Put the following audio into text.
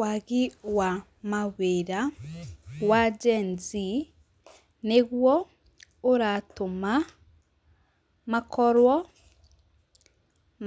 Waagi wa mawĩra wa Gen-Z nĩguo ũratũma makorwo